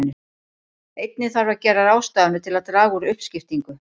Einnig þarf að gera ráðstafanir til að draga úr uppskiptingu.